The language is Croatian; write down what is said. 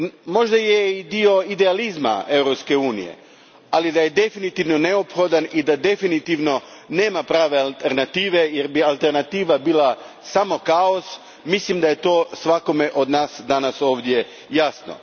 Možda je i dio idealizma Europske unije, ali da je definitivno neophodan i da definitivno nema prave alternative, jer bi alternativa bila samo kaos, to je svakome od nas danas ovdje jasno.